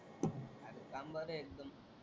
आजच काम बर आहे एकदम.